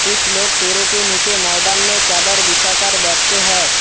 कुछ लोग पेड़ों के नीचे मैदान में चादर बिछा कर बैठते हैं।